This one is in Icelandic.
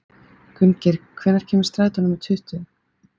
Gunngeir, hvenær kemur strætó númer tuttugu?